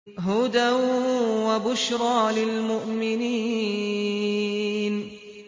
هُدًى وَبُشْرَىٰ لِلْمُؤْمِنِينَ